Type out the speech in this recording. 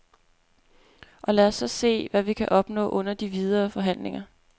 Og lad os så se, hvad vi kan opnå under de videre forhandlinger.